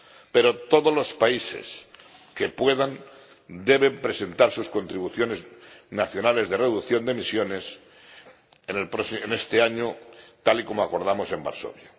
Pero todos los países que puedan deben presentar sus contribuciones nacionales de reducción de emisiones en este año, tal y como acordamos en Varsovia.